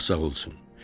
Şah sağ olsun.